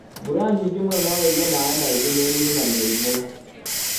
mbura nyingĩ mũno noĩige maĩ maingĩ mĩrinĩ na mĩrĩmũ.